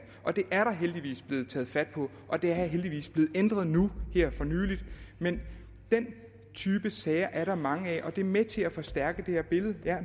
det er der heldigvis blevet taget fat på og det er heldigvis blevet ændret nu her for nylig men den type sager er der mange af og det er med til at forstærke det her billede ja